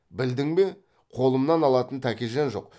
білдің бе қолымнан алатын тәкежан жоқ